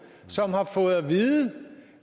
som har fået at vide